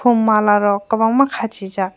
aw mala rok kwbangma khachi jaak.